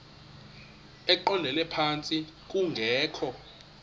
eqondele phantsi kungekho